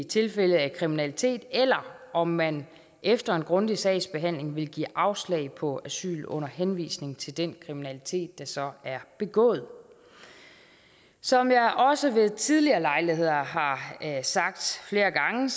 tilfælde af kriminalitet eller om man efter en grundig sagsbehandling vil give afslag på asyl under henvisning til den kriminalitet der så er begået som jeg også ved tidligere lejligheder har sagt flere gange